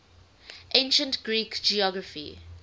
ancient greek geography